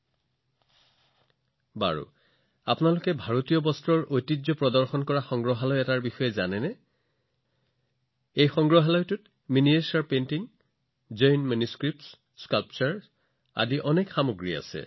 ঠিক আছে আপোনালোকে এনে কোনো সংগ্ৰহালয়ৰ বিষয়ে জানেনে যিয়ে ভাৰতৰ বস্ত্ৰৰ সৈতে সম্পৰ্কিত ঐতিহ্য উদযাপন কৰে এই সংগ্ৰহালয়ত বহুতো ক্ষুদ্ৰ চিত্ৰ আছে জৈন পাণ্ডুলিপি ভাস্কৰ্য এনে বহুত আছে